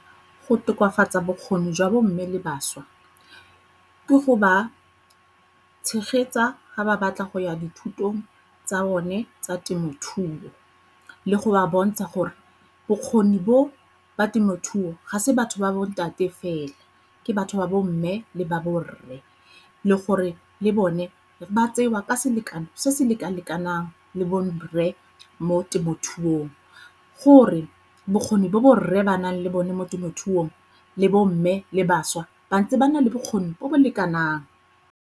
Go tokafatsa bokgoni jwa bo mme le bašwa ke go ba tshegetsa ga ba batla go ya dithutong tsa bone tsa temothuo, le go ba bontsha gore bokgoni bo ba temothuo ga se batho ba bontate fela ke batho ba bomme le ba borre. Le gore le bone ba tsewa ka selekano se se leka-lekanang le borre mo temothuong gore bokgoni bo borre ba nang le bone mo temothuong le bo mme le bašwa ba ntse ba na le bokgoni bo bo lekanang.